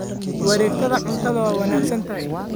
Wareegtada cuntadu waa wanaagsan tahay.